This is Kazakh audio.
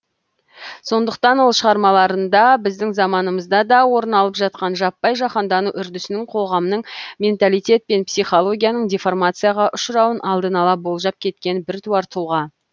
сондықтан ол шығармаларында біздің заманымызда да орын алып жақан жаппай жаһандану үрдісінің қоғамның менталитет пен психологияның деформацияға ұшырауын алдын ала болжап кеткен біртуар тұлға